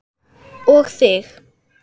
Og þig.